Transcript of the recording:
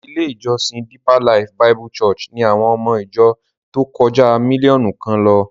Ilé-ìjọsìn Deeper Life Bible Church ni àwọn ọmọ ìjọ tó kọjá mílíọ̀nù kan lọ.